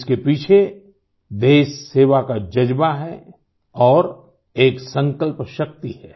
इसके पीछे देशसेवा का जज़्बा है और एक संकल्पशक्ति है